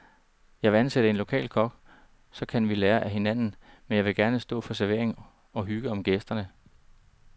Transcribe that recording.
Jeg vil ansætte en lokal kok, og så kan vi lære af hinanden, men jeg vil gerne selv stå for servering og hygge om gæsterne.